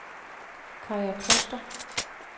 Kaja Kloster